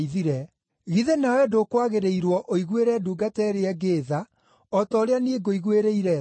Githĩ nawe ndũkwagĩrĩirwo ũiguĩre ndungata ĩrĩa ĩngĩ tha o ta ũrĩa niĩ ngũiguĩrĩire tha?’